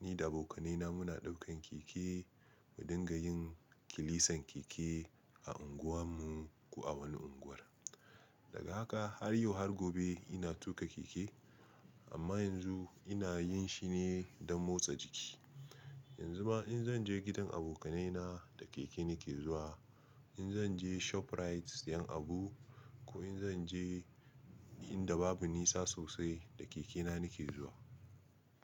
ni da abokanaina muna ɗaukan keke mu dinga yin kilisan keke a unguwan mu, a wani unguwar. Daga haka har yau har gobe ina tuƙa keke amma yanzu ina yin shi ne don motsa jiki. Yanzu ma in zan je gidan abokanai na da keke nake zuwa, in zan je ShopRite siyan abu ko in zan je inda babu nisa sosai da keke na nake zuwa.